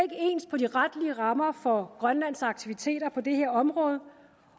ens på de retlige rammer for grønlands aktiviteter på det her område